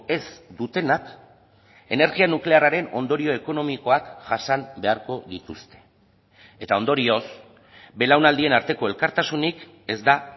ez dutenak energia nuklearraren ondorio ekonomikoak jasan beharko dituzte eta ondorioz belaunaldien arteko elkartasunik ez da